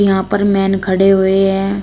यहां पर मैन खड़े हुए हैं।